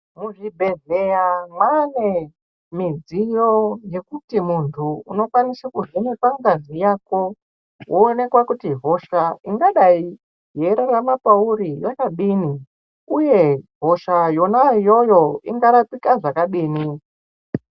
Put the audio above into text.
Muzvibhedhlera mane midziyo Yekuti muntu unokwanisa kuvhenekwa ngazi Yako woonekwa kuti hosha ingaonekwa iri mauri inodininuye hosha yona iyoyo ingarapika zvakadini.